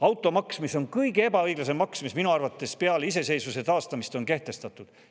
Automaks on minu arvates kõige ebaõiglasem maks, mis peale iseseisvuse taastamist on kehtestatud.